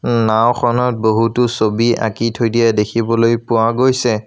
নাওঁখনত বহুতো ছবি আঁকি থৈ দিয়া দেখিবলৈ পোৱা গৈছে।